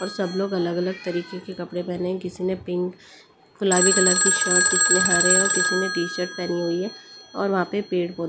सब लोग अलग-अलग तरीके के कपड़े पहने हैं किसी ने पिंक गुलाबी कलर की शर्ट किसी ने हरे और किसी ने टी-शर्ट पहनी हुई है और वहां पे पेड़ पौधे --